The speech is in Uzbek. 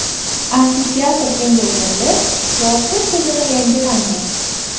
Amfiteatr kengaytirilib, yoritish tizimi yangilandi.